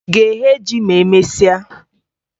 Ị ga-eghe ji ma emesịa?